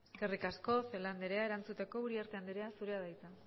eskerrik asko celaá andrea erantzuteko uriarte andrea zurea da hitza